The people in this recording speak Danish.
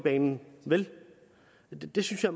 banen vel det synes jeg